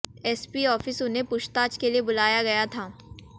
SP office उन्हें पूछताछ के लिए बुलाया गया था